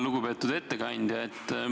Lugupeetud ettekandja!